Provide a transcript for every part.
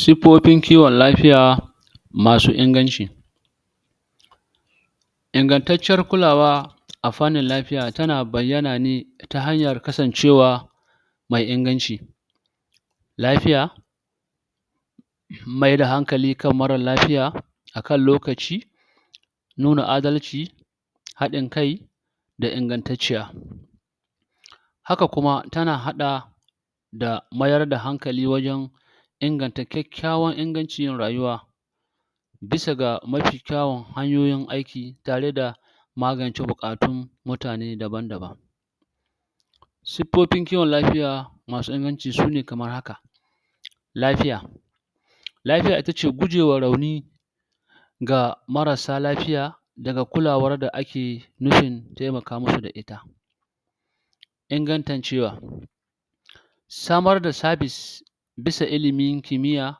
siffofin l kiwon afiya masu inganci ingantaccen kulawa a fannin lafiya tana bayyana ne ta hanyar kasancewa mai inganci lafiya mai da hankali kan mara lafiya akan lokaci nuna adalci haddin kai ka ingantatciya haka kuma tana hada da mayar da hanakli wajen inganta kyakyawan ingancin rayuwa bisa ga mafi kyawun hanyoyin aiki tare da magance bukatun mutane daban daban siffofin kiwon lafiya masu inganci sune kamar haka lafiya lafiya itace guje wa rauni ga marasa lafiya daga kulawar da ake nufin taimaka musa da ita ingantancewa samar da serbis bisa ilimin kimiya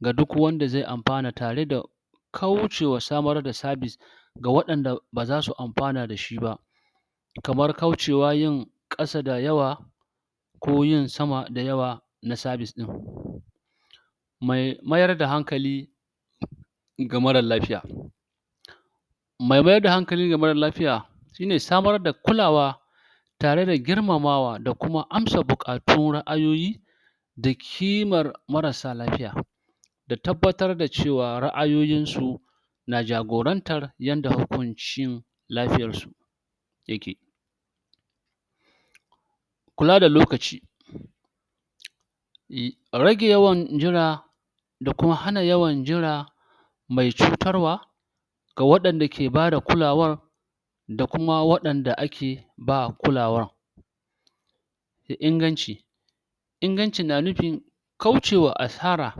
da dukwanda zai amfana tare da kaucewa samar da serbis ga wadanda bazasu amfana dashi ba kamar kaucewa yin kasa dayawa ko yin sama dayawa na serbis din mai mayar da hankali ga mara lafiya mai mayar da hanakali ga mara lafiya shine samar da kulawa tare da girmamawa da kuma amsa bukatu na ayoyi da kimar mara sa lafiya da tabbatar dacewa ra'ayoyin su na jagorantar yanda hukunci lafiyar su yake kula da lokaci rage yawan jira da kuma hana yawan jira mai cutar wa ga wadan dake bada kula wan da kuma wadanda ake ba kulawan Da inganci iganci na nufin kaucewa asara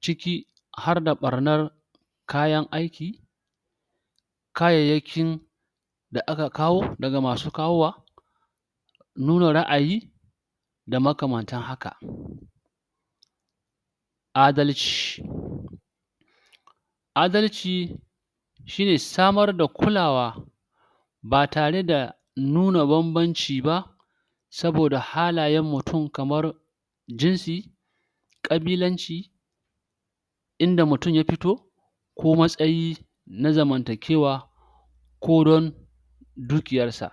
ciki harda barnar kayan aiki kayayakin da aka kawo daga masu kawowa nuna ra'ayi makamatan haka adalci adalci shine samar da kulawa ba tare da nuna bamnbamci ba saboda halayan mutum kamar jinsi ƙabilanci in da mutum ya fito ko matsayi na zaman takewa ko don dukiyarsa